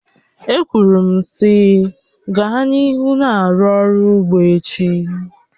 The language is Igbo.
E kwuru m sị, gaa n'ihu na-arụ ọrụ ugbo echi!